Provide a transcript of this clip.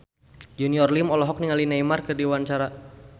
Junior Liem olohok ningali Neymar keur diwawancara